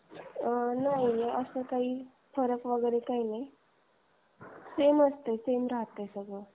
आह नाही असं काही फरक वगैरे नाही सेमचं आहे. सेम च राहते ते सगळे.